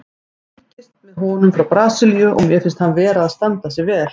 Ég fylgist með honum frá Brasilíu og mér finnst hann vera að standa sig vel.